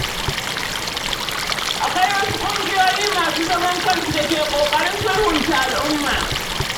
Akwai wasu ƙungiyoyi masu zaman kansu da ke ƙoƙarin sulhunta al'umma.